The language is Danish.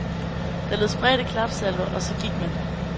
Der lød spredte klapsalver, og så gik man.